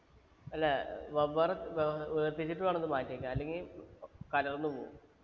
അല്ല വെവ്വേറെ ഏർ വേർതിരിച്ചിട്ട് വേണം അത് മാറ്റിവെക്കാൻ അല്ലെങ്കി കലർന്നു പോവും